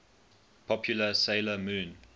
popular 'sailor moon